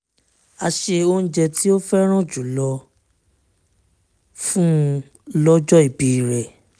a se oúnjẹ tí ó fẹ́ràn jù lọ fún un lọ́jọ́ ìbí rẹ̀